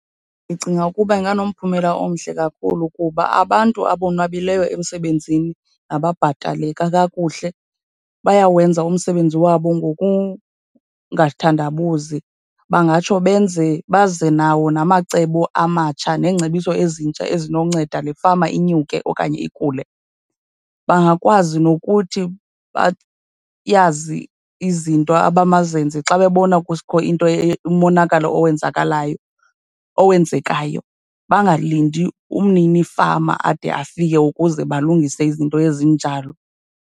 Ndicinga ukuba inganomphumela omhle kakhulu kuba abantu abonwabileyo emsebenzini nababhataleka kakuhle bayawenza umsebenzi wabo ngokungathandabuzi. Bangatsho benze, baze nawo namacebo amatsha neengcebiso ezintsha ezinonceda le fama inyuke okanye ikhule. Bangakwazi nokuthi bayazi izinto abamazenze xa bebona kukho into, umonakalo owenzekalayo, owenzekayo. Bangalindi umninifama ade afike ukuze balungise izinto ezinjalo.